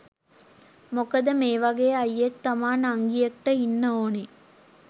මොකද මේ වගේ අයියෙක් තමා නංගියෙක්ට ඉන්න ඕනේ.